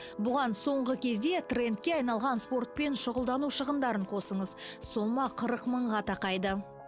бұған соңғы кезде трендке айналған спортпен шұғылдану шығындарын қосыңыз сома қырық мыңға тақайды